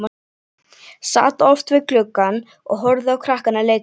Sat oft við gluggann og horfði á krakkana leika sér.